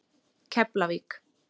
Keflavík